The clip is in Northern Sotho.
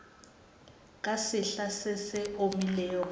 ka sehla se se omilego